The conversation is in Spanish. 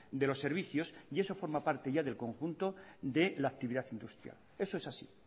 de los servicios y eso forma parte ya del conjunto de la actividad industrial eso es así